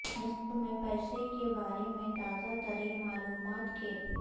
نثر میں پیسے کے بارے میں تازہ ترین معلومات کے